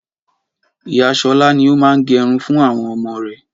Ìyá Ṣọlá ni ó máa ń gẹrun fún àwọn ọmọ rẹ̀